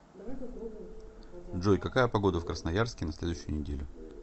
джой какая погода в красноярске на следующую неделю